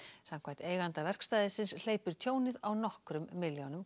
samkvæmt eiganda verkstæðisins hleypur tjónið á nokkrum milljónum